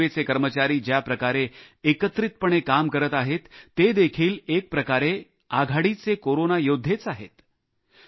आज रेल्वेचे कर्मचारी ज्याप्रकारे एकत्रितपणे काम करत आहेत ते देखील एकप्रकारे आघाडीचे कोरोना योद्धेच आहेत